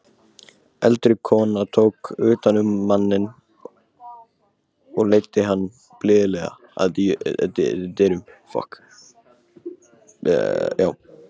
Eldri konan tók utan um manninn og leiddi hann blíðlega að dyrunum.